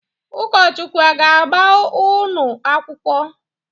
Ụkọchukwu a ga-agba unu akwụkwọ?